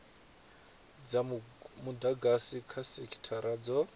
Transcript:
dza mudagasi kha sekithara dzo